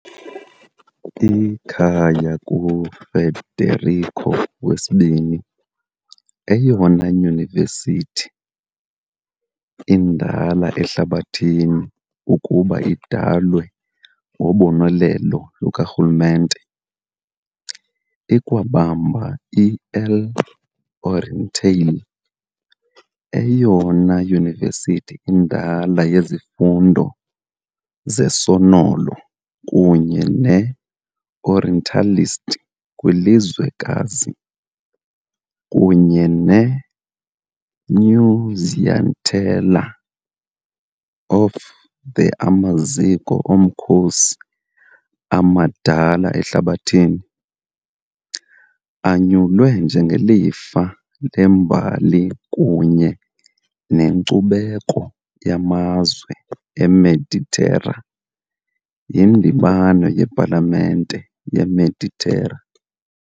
Ikhaya kuFederico II, eyona yunivesithi indala ehlabathini ukuba idalwe ngobonelelo lukarhulumente, ikwabamba i-L'Orientale, eyona yunivesithi indala yezifundo zesonolo kunye ne-orientalist kwilizwekazi, kunye ne -Nunziatella, a of the amaziko omkhosi amadala ehlabathini, anyulwe njengelifa lembali kunye nenkcubeko yamazwe eMeditera yiNdibano yePalamente yeMeditera .